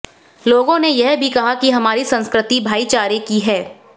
लोगों ने यह भी कहा कि हमारी संस्कृति भाईचारे की है